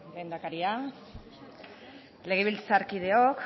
lehendakaria legebiltzarkideok